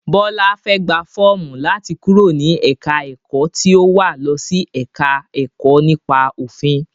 Bọlá fẹ́ gbà fọ́ọ̀mù láti kúrò ní ẹ̀ka ẹ̀kọ́ tí ó wà losi ẹ̀ka ẹ̀kọ́ nípa òfin.